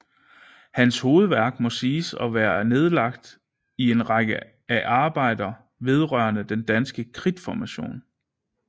Hans hovedværk må siges at være nedlagt i en række af arbejder vedrørende den danske kridtformation